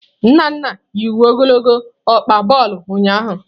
Nnanna yi uwe ogologo ọkpa bulu ụnyahụ.